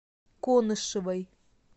конышевой